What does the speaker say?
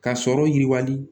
Ka sɔrɔ yiriwali